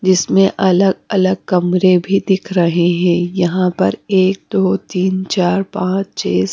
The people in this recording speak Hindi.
जिसमें अलग अलग कमरे भी दिख रहे हैं यहां पर एक दो तीन चार पाच छे स--